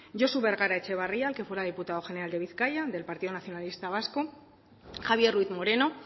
josu bergara etxebarria el que fuera diputado general de bizkaia del partido nacionalista vasco javier ruiz moreno